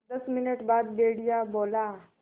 दस मिनट बाद भेड़िया बोला